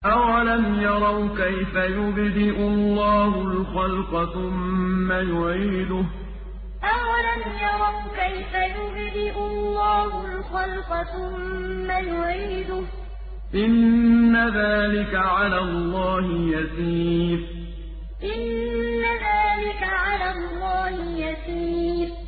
أَوَلَمْ يَرَوْا كَيْفَ يُبْدِئُ اللَّهُ الْخَلْقَ ثُمَّ يُعِيدُهُ ۚ إِنَّ ذَٰلِكَ عَلَى اللَّهِ يَسِيرٌ أَوَلَمْ يَرَوْا كَيْفَ يُبْدِئُ اللَّهُ الْخَلْقَ ثُمَّ يُعِيدُهُ ۚ إِنَّ ذَٰلِكَ عَلَى اللَّهِ يَسِيرٌ